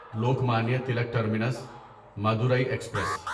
Lokmanya Tilak terminus Madurai express